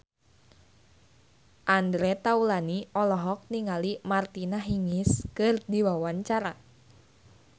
Andre Taulany olohok ningali Martina Hingis keur diwawancara